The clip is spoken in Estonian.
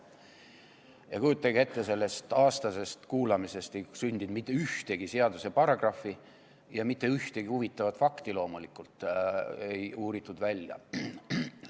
Ja kujutage ette, sellest aastasest kuulamisest ei sündinud mitte ühtegi seaduseparagrahvi ega mitte ühtegi huvitavat fakti loomulikult ei uuritud välja.